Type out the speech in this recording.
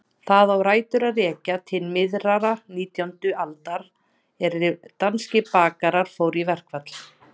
Það á rætur að rekja til miðrar nítjándu aldar er danskir bakarar fóru í verkfall.